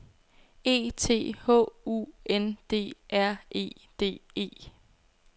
E T H U N D R E D E